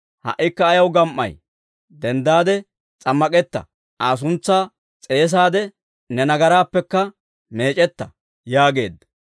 Ha"ikka ayaw gam"ay? Denddaade s'ammak'etta; Aa suntsaa s'eesaadde, ne nagaraappekka meec'etta› yaageedda.